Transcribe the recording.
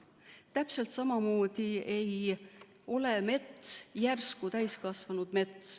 Täpselt samamoodi ei ole mets järsku täiskasvanud mets.